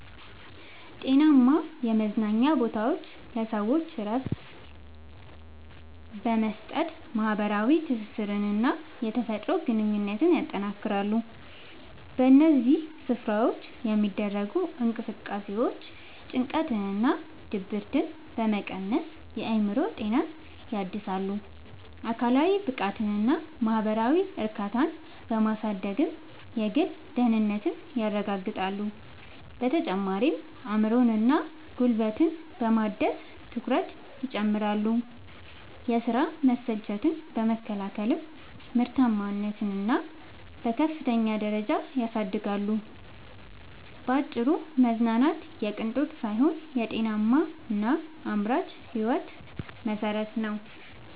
ጤናማ የመዝናኛ ቦታዎች ለሰዎች እረፍት በመስጠት፣ ማኅበራዊ ትስስርንና የተፈጥሮ ግንኙነትን ያጠናክራሉ። በእነዚህ ስፍራዎች የሚደረጉ እንቅስቃሴዎች ጭንቀትንና ድብርትን በመቀነስ የአእምሮ ጤናን ያድሳሉ፤ አካላዊ ብቃትንና ማኅበራዊ እርካታን በማሳደግም የግል ደህንነትን ያረጋግጣሉ። በተጨማሪም አእምሮንና ጉልበትን በማደስ ትኩረትን ይጨምራሉ፤ የሥራ መሰልቸትን በመከላከልም ምርታማነትን በከፍተኛ ደረጃ ያሳድጋሉ። ባጭሩ መዝናናት የቅንጦት ሳይሆን የጤናማና አምራች ሕይወት መሠረት ነው።